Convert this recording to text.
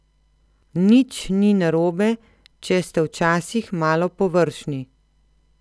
Nič ni narobe, če ste včasih malo površni.